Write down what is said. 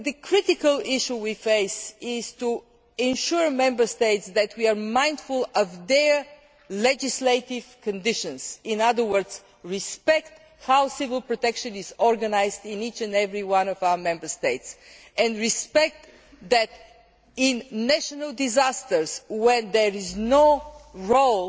The critical issue we face is to assure Member States that we are mindful of their legislative conditions, in other words, that we respect how civil protection is organised in each and every one of our Member States, and recognise that in national disasters where there is no